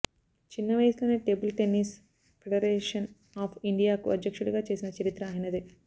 చిన్న వయసులోనే table tennis federation of ఇండియాకు అధ్యక్షుడిగా చేసిన చరిత్ర ఆయనదే